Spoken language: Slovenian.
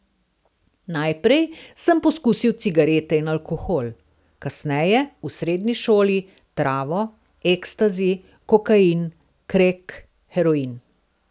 Najprej sem poskusil cigarete in alkohol, kasneje, v srednji šoli, travo, ekstazi, kokain, krek, heroin.